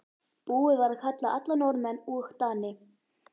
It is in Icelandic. Búið var að kalla alla Norðmenn og Dani.